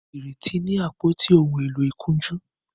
Ireti ní àpótí òún èló ìkunjú